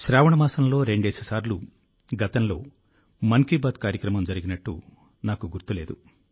శ్రావణ మాసంలో రెండేసి సార్లు గతంలో మన్ కీ బాత్ కార్యక్రమం జరిగినట్టు నాకు గుర్తు లేదు